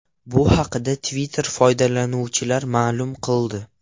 Bu haqda Twitter foydalanuvchilari ma’lum qildi.